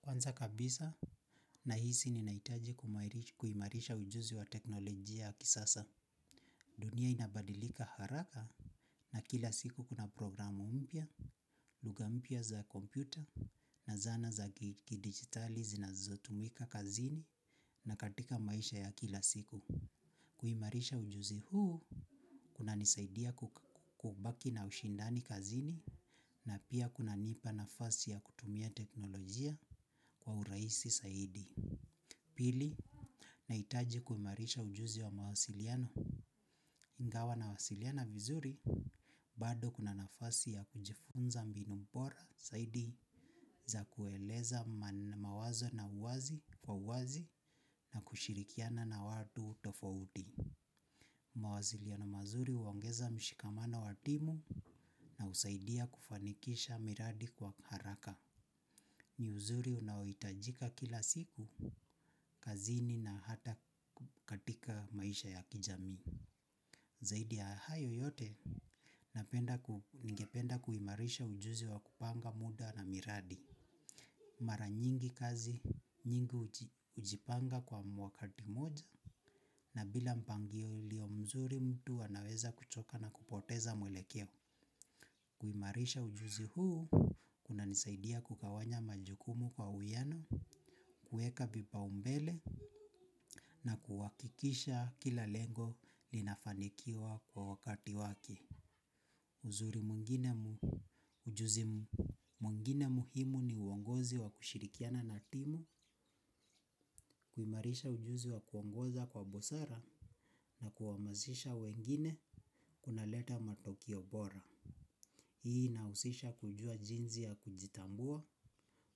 Kwanza kabisa, nahisi ninahitaji kuimarisha ujuzi wa teknolojia ya kisasa. Dunia inabadilika haraka na kila siku kuna programu mpya, lugha mpya za kompyuta na zana za kidigitali zinazotumika kazini na katika maisha ya kila siku. Kuimarisha ujuzi huu, kunanisaidia kuk kubaki na ushindani kazini, na pia kunanipa nafasi ya kutumia teknolojia kwa urahisi saidi. Pili, nahitaji kuimarisha ujuzi wa mawasiliano. Ingawa nawasiliana vizuri, bado kuna nafasi ya kujifunza mbinu bora zaidi za kueleza mawazo na uwazi, kwa uwazi, na kushirikiana na watu tofauti. Mawasiliano mazuri huongeza mshikamano wa timu, na husaidia kufanikisha miradi kwa haraka. Ni uzuri unaohitajika kila siku, kazini na hata katika maisha ya kijamii. Zaidi ya hayo yote, napenda ku, ningependa kuimarisha ujuzi wa kupanga muda na miradi. Mara nyingi kazi, nyingi hujipanga kwa mwakati moja, na bila mpangilio mzuri mtu anaweza kuchoka na kupoteza mwelekeo. Kuimarisha ujuzi huu, kunanisaidia kugawanya majukumu kwa uwiano, kuweka vipaumbele, na kuhakikisha kila lengo linafanikiwa kwa wakati wake. Uzuri mwingine mu, ujuzi mwingine muhimu ni uongozi wa kushirikiana na timu, kuimarisha ujuzi wa kuongoza kwa busara, na kuhamasisha wengine kunaleta matokeo bora. Hii inahusisha kujua jinsi ya kujitambua,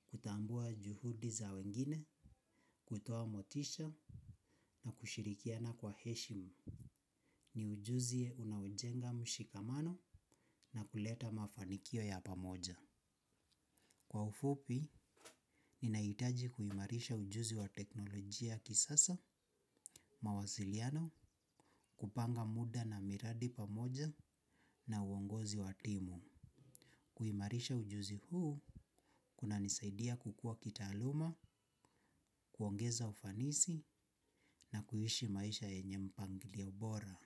kutambua juhudi za wengine, kutoa motisha na kushirikiana kwa heshima. Ni ujuzi unaojenga mshikamano, na kuleta mafanikio ya pamoja. Kwa ufupi, ninahitaji kuimarisha ujuzi wa teknolojia kisasa, mawasiliano, kupanga muda na miradi pamoja na uongozi wa timu. Kuimarisha ujuzi huu, kunanisaidia kukua kitaaluma, kuongeza ufanisi na kuishi maisha yenye mpangilio bora.